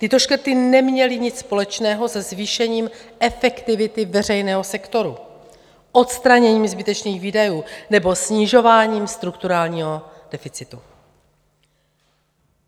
Tyto škrty neměly nic společného se zvýšením efektivity veřejného sektoru, odstraněním zbytečných výdajů nebo snižováním strukturálního deficitu.